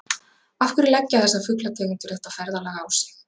Af hverju leggja þessar fuglategundir þetta ferðalag á sig?